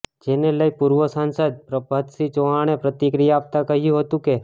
જેને લઈ પૂર્વ સાંસદ પ્રભાતસિંહ ચૌહાણે પ્રતિક્રિયા આપતા કહ્યું હતુ કે